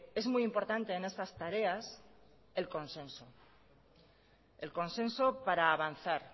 es muy importante en estas tareas el consenso el consenso para avanzar